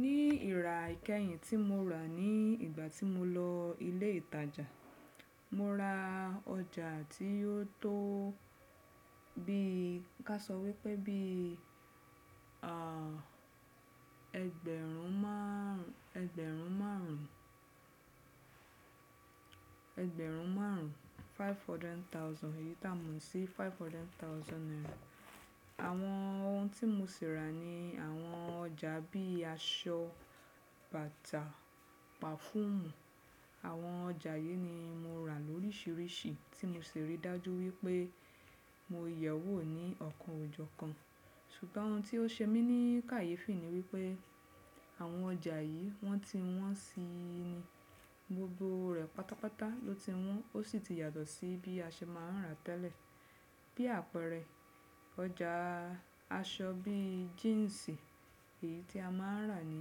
Nì ìrà ẹ̀kẹyìn tí mo rà ní ìgbà tí mo lọ ilé ìtajà, mo rà ọjà tì ó tó, bí ká sọ pé bí ẹgbẹ̀rún márùn-ún. Ẹgbẹ̀rún márùn-ún, five hundred thousand, èyí tá mọ̀ sí five hundred thousand naira. Àwọn ohun tí mo sì rà ni àwọn ọjà bí aṣọ, bàtà, pàfúmù. Àwọn ọjà yìí ni mo rà lóríṣiríṣi tí mo ṣí rí dájú wípé mo yẹ̀wò ní ọ̀kan o jọ́ kan. Ṣùgbọ́n ohun tí ó ṣe mí ní kàyéfì ni wípé àwọn ọjà yìí wọ́n ti wọ́n si ni gbogbo rẹ̀ pátápátá ló ti wọ́n ó sì ti yàtọ̀ sí bí a ṣe máa ń rà tẹ́lẹ̀. Bí àpẹẹrẹ ọjà aṣọ bí jíǹsì èyí tí a máa ń rà ní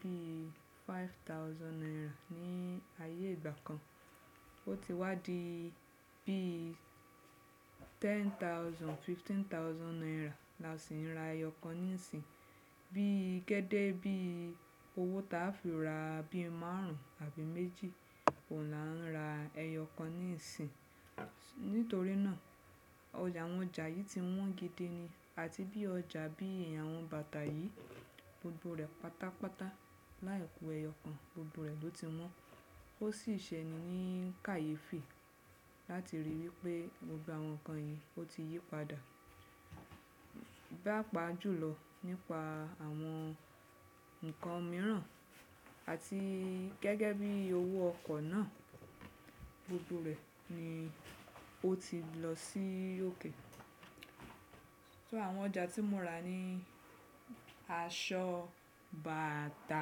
bí five thousand naira ní ayé ìgbà kan, ó ti wá di bí ten thousand, fifteen thousand naira la sì ń ra ẹyọ kan nísìnyí. Bí gẹ́gẹ́ bí owó tá a fi rà, bí márùn-ún àbí méjì, ohun la ń rà ẹyọ kan nísìnyí. Nítorí náà, ọjà, àwọn ọjà yìí ti wọ́n gidi ni, àti bí ọjà bíi àwọn bàtà yìí, gbogbo rẹ̀ pátápátá, láì kù ẹyọ kan, gbogbo rẹ̀ ló ti wọ́n. Ó sì ṣe ẹni ní kàyéfì láti rí i wípé gbògbò àwọn nǹkan yìí ó ti yí padà pá pà jùlọ nípa àwọn ǹkan mìíràn àti gẹ́gẹ́ bí owó ọkọ̀ náà gbogbo rẹ̀ ni ó ti lọ sí òkè. So, àwọn ọjà tí mo rà ni aṣọ, bàtà,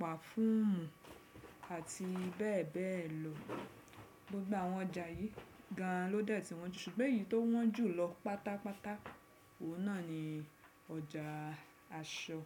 pàfúmù àti bẹ́ẹ̀ bẹ́ẹ̀ lọ. Gbogbo àwọn ọjà yìí gan ló dẹ́ tí wọ́n ju ṣùgbọ́n èyí tó wọ́n jù lọ pátápátá òun náà ni ọjà aṣọ.